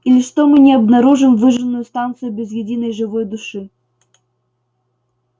или что мы не обнаружим выжженную станцию без единой живой души